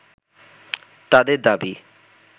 তাদের দাবি